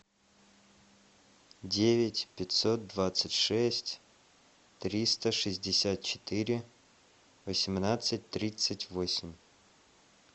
девять пятьсот двадцать шесть триста шестьдесят четыре восемнадцать тридцать восемь